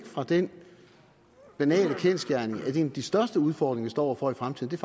fra den banale kendsgerning at en af de største udfordringer vi står over for i fremtiden